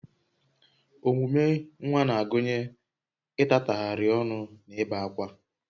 Omume nwa na-agụnye ịtatagharị ọnụ na ibe ákwá